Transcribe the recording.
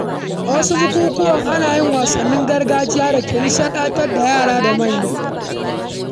A wasu bukukuwa, ana yin wasannin gargajiya da ke nishaɗantar da yara da manya.